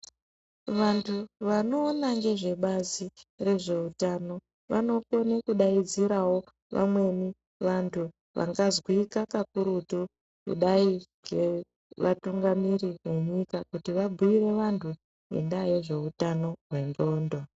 Vantu vanoona ngezvebazi rezveutano vanokone kudaidzirawo vamweni vantu vangazwika kakurutu kudai ngevatungamiri venyika kuti vabhiire vantu ngendaa ye zveutano hwendxondo.